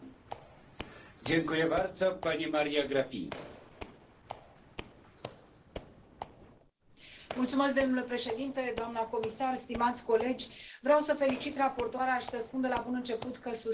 Domnule președinte, doamna comisar, stimați colegi, vreau să felicit raportoarea și să spun de la bun început că susțin în mod deosebit punctul 17, și anume acela de a avea o directivă, doamna comisar, pentru că,